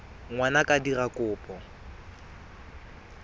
ngwana a ka dira kopo